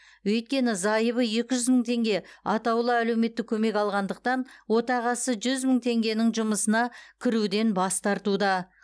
өйткені зайыбы екі жүз мың теңге атаулы әлеуметтік көмек алғандықтан отағасы жүз мың теңгенің жұмысына кіруден бас тартуда